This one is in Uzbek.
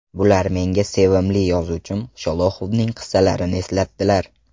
Bular menga sevimli yozuvchim Sholoxovning qissalarini eslatdilar.